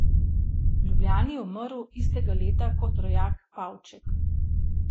V Ljubljani je umrl istega leta kot rojak Pavček.